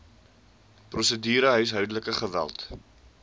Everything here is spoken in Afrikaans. prosedure huishoudelike geweld